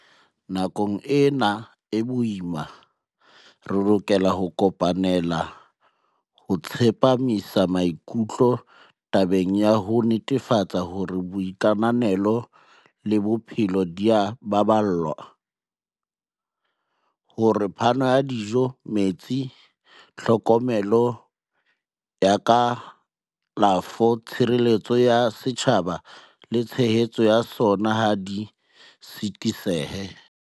Nakong ena e boima, re lokela ho kopanela ho tsepamisa mai-kutlo tabeng ya ho netefatsa hore boitekanelo le bophelo di a baballwa, hore phano ya dijo, metsi, tlhokomelo ya ka-lafo, tshireletso ya setjhaba le tshehetso ya sona ha di sitisehe.